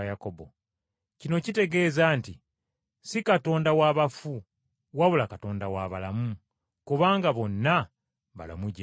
Kino kitegeeza nti ssi Katonda wa bafu wabula Katonda wa balamu, kubanga bonna balamu gy’ali.”